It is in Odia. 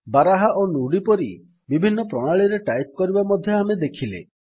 ବାରାହା ଓ ନୁଡି ପରି ବିଭିନ୍ନ ପ୍ରଣାଳୀରେ ଟାଇପ୍ କରିବା ମଧ୍ୟ ଆମେ ଦେଖିଲେ